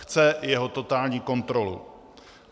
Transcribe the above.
Chce jeho totální kontrolu.